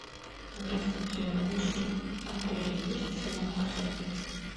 здравствуйте в вашем отеле есть салон красоты